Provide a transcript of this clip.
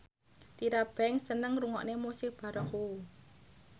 Tyra Banks seneng ngrungokne musik baroque